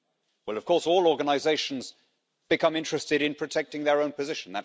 Well of course, all organisations become interested in protecting their own position.